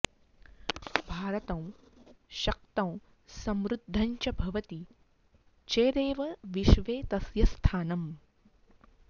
भारतं शक्तं समृद्धं च भवति चेदेव विश्वे तस्य स्थानम्